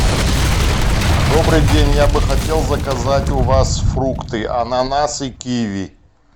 добрый день я бы хотел заказать у вас фрукты ананасы киви